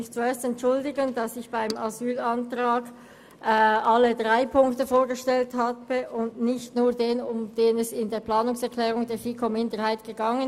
Zuerst entschuldige ich mich, dass ich beim Asylantrag alle drei Punkte vorgestellt habe und nicht nur denjenigen, um den es in der Planungserklärung der FiKo-Minderheit ging.